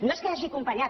no és que hagi acompanyat